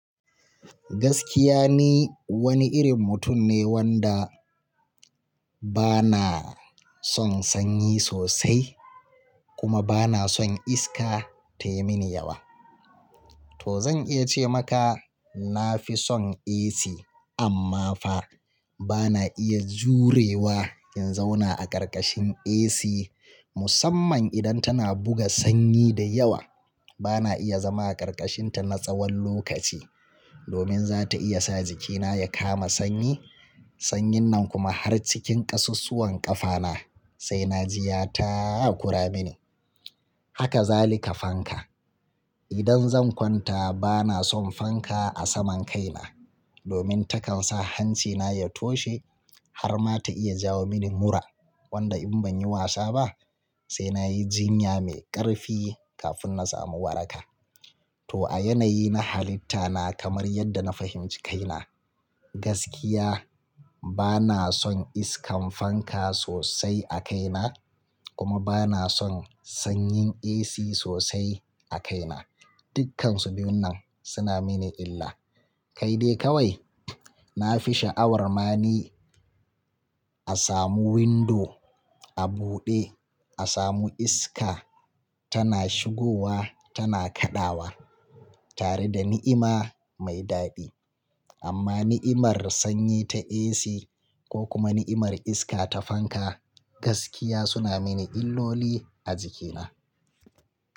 Gaskiya ni wani irin mutum ne wanda bana son sanyi sosai kuma bana son iska tai mini yawa. To zan iya ce maka na fi son AC amma fa bana iya jurewa in zauna a ƙarƙashin AC musamman idan tana buga sanyi da yawa. Bana iya zama a ƙarƙashinta na tsawon lokaci domin za ta iya sa jikina ya kama sanyi, sanyin nan kuma har cikin ƙasassuwan ƙafana sai na ji ya taakura mini. Haka za lika fanka. Idan zan kwanta bana son fanka a saman kaina domin takan sa hancina ya toshe har ma ta iya jawo mini mura wanda in ban yi wasa ba sai nayi jinya mai ƙarfi kafin na samu waraka. To a yanayi na halitta na kamar yadda na fahimci kaina, gaskiya bana son iskar fanka sosai a kaina kuma bana son sanyin AC sosai a kaina. Dukkansu biyun nan suna mini illa. Kai dai kawai na fi sha'awar ma ni a samu windo a buɗe, a samu iska tana shigowa tana kaɗawa tare da ni'ima mai daɗi. Amma ni'imar sanyi ta AC ko kuma ni'imar iska ta fanka gaskiya suna mini illoli a jikina.